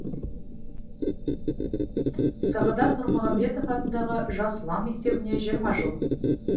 сағадат нұрмағамбетов атындағы жас ұлан мектебіне жиырма жыл